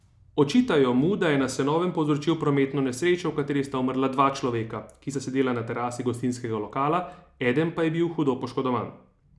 Očitajo mu, da je na Senovem povzročil prometno nesrečo, v kateri sta umrla dva človeka, ki sta sedela na terasi gostinskega lokala, eden pa je bil hudo poškodovan.